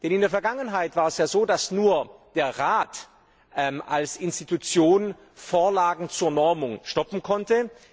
In der Vergangenheit war es so, dass nur der Rat als Institution Vorlagen zur Normung stoppen konnte.